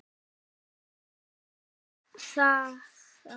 Það vita þær.